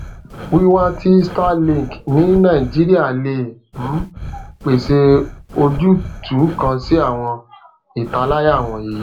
wiwa ti starlink ni nigeria le um pese ojutu kan si awọn italaya wọnyi